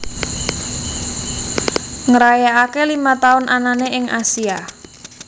ngrayakake lima tahun anane ing Asia